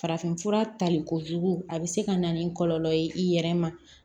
Farafinfura talikojugu a bɛ se ka na ni kɔlɔlɔ ye i yɛrɛ ma